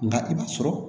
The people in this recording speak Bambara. Nka i b'a sɔrɔ